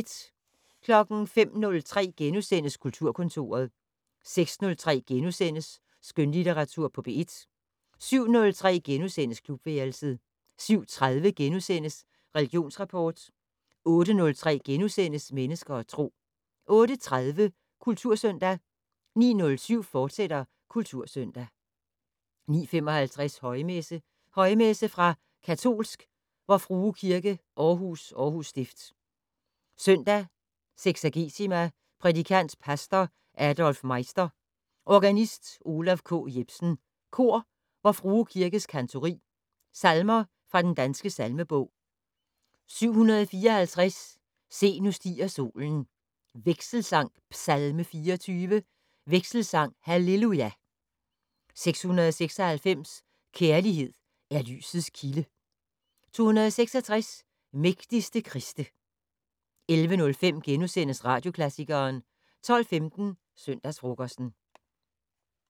05:03: Kulturkontoret * 06:03: Skønlitteratur på P1 * 07:03: Klubværelset * 07:30: Religionsrapport * 08:03: Mennesker og Tro * 08:30: Kultursøndag 09:07: Kultursøndag, fortsat 09:55: Højmesse - Højmesse fra Katolsk Vor Frue Kirke Aarhus, Aarhus Stift. Søndag seksagesima. Prædikant: Pastor Adolf Meister. Organist: Olav K. Jepsen. Kor: Vor Frue Kirkes Kantori. Salmer fra Den Danske Salmebog: 754 "Se, nu stiger solen" Vekselsang: "Psalme 24". Vekselsang: "Halleluja". 696 "Kærlighed er lysets kilde". 266 "Mægtigste Kriste" 11:05: Radioklassikeren * 12:15: Søndagsfrokosten